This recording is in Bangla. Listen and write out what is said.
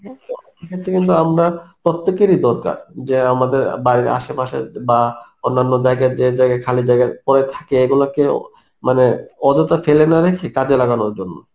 তো সেক্ষেত্রে কিন্তু আমরা প্রত্যেকেরই দরকার যে আমাদের অ্যাঁ বাড়ির আশেপাশে বা অন্যান্য জায়গা যে জায়গা খালি জায়গা পরে থাকে এগুলো কেও মানে অযথা ফেলে না রেখে কাজে লাগানোর জন্য